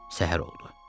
Səhər oldu.